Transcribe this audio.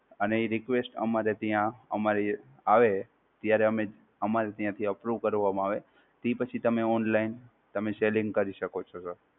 અને એ request અમારે ત્યાં અમારે આવે, ત્યારે અમે અમારે ત્યાં થી Unproven કારવામાં આવે, ઈ પછી તમે Online તમે સેલીંગ કરી શકો છો Sir.